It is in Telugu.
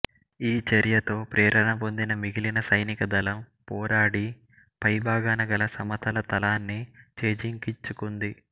ఈ చర్యతో ప్రేరణ పొందిన మిగిలిన సైనిక దళం పోరాడి పై భాగాన గల సమతల తలాన్ని చేజిక్కించుకుంది